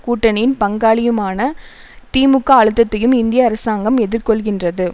கூட்டணியின் பங்காளியுமான திமுக அழுத்தத்தையும் இந்திய அரசாங்கம் எதிர்கொள்கின்றது